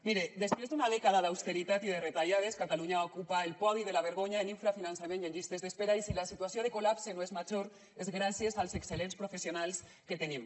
mire després d’una dècada d’austeritat i de retallades catalunya va ocupar el podi de la vergonya en infrafinançament i en llistes d’espera i si la situació de col·lapse no és major és gràcies als excel·lents professionals que tenim